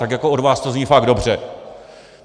Tak jako od vás to zní fakt dobře.